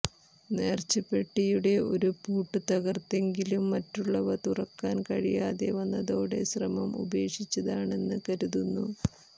നേർച്ചപ്പെട്ടിയുടെ ഒരു പൂട്ട് തകർത്തെങ്കിലും മറ്റുള്ളവ തുറക്കാൻ കഴിയാതെവന്നതോടെ ശ്രമം ഉപേക്ഷിച്ചതാണെന്ന് കരുതുന്നു